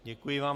Děkuji vám.